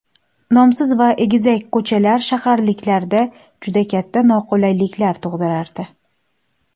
Nomsiz va egizak ko‘chalar shaharliklarda juda katta noqulayliklar tug‘dirardi.